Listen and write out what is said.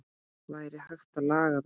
Væri hægt að laga það?